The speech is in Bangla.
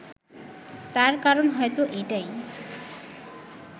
তার কারণ হয়তো এটাই